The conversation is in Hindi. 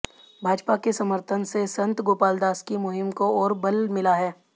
भाजपा के समर्थन से संत गोपालदास की मुहिम को ओर बल मिला है